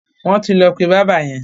Wọ́n ti lọ pé bábà yẹn.